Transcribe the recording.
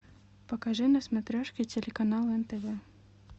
покажи на смотрешке телеканал нтв